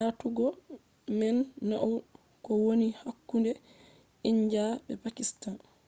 aatugo man nauni ko woni hakkunde india be pakistan